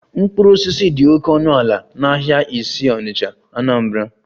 Mkpụrụ osisi dị oke ọnụ ala n'ahịa isi onitcha, Anambra